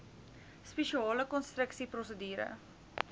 spesiale konstruksie prosedure